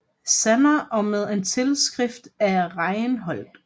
Sander og med en tilskrift af Reinhold